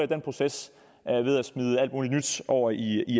den proces ved at smide alt muligt nyt over i